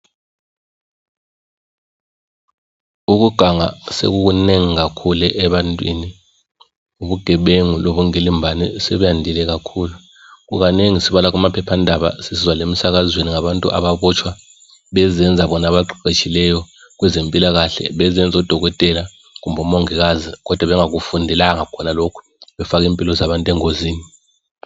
ukuganga sekukunengi kakhulu ebantwini ubugebengu lobukwilimbano sokwande kakhulu kukanengi sibala kumaphephandaba sisizwa lemsakazweni ngabantu ababotshwa bezenza bona abaqeqetshileyo kwezempilakahle bezenza odokotela kumbe omongikazi kodwa bengakufundelanga khonalokhu befaka impilo zabantu engozini